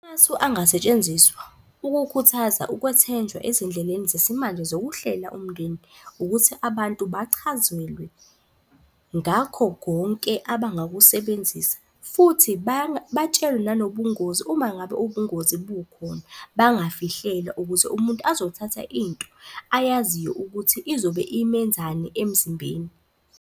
Amasu angasetshenziswa ukukhuthaza ukwethenjwa ezindleleni zesimanje zokuhlela umndeni, ukuthi abantu bachazelwe ngakho konke abangakusebenzisa, futhi batshelwe nanobungozi uma ngabe ubungozi bukhona, bangafihlelwa ukuze umuntu azothatha into ayaziyo ukuthi izobe imenzani emzimbeni.